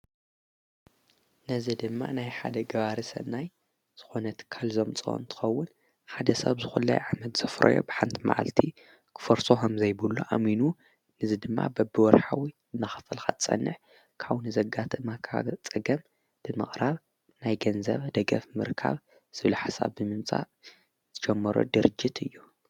ነዝ ድማ ናይ ሓደ ግባርሰናይ ዝኾነት ከልዞም ፅወንትኸውን ሓደ ሰብ ዝዂለይ ዓመድ ዘፍረዮ ብሓንቲ መዓልቲ ኽፈርሶ ሃም ዘይቡሉ ኣሚኑ ንዝ ድማ በብወርኃዊ እናኽፈልኻጸንሕ ካው ንዘጋተ ማካ ጸገም ድመቕራብ ናይ ገንዘብ ደገፍ ምርካብ ስብኢልሓሳብ ምምጻእ ዝጀመሮ ድርጅት እዩ።